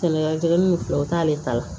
Kɛmɛya kelen ni fila o t'ale ta la